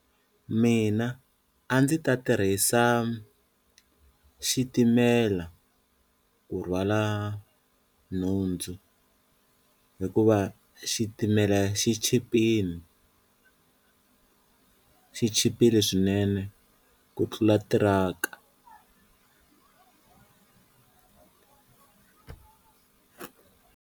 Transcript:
Mina a ndzi ta tirhisa xitimela ku rhwala nhundzu hikuva xitimela xi chipini xi chipile swinene ku tlula tiraka.